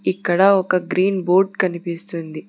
ఇక్కడ ఒక green board కనిపిస్తుంది.